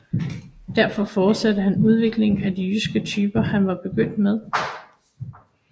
Derfor fortsatte han udviklingen af de jyske typer han var begyndt med